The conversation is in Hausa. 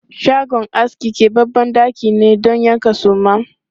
Shagon aski kebabben ɗaki ne don yankan suma.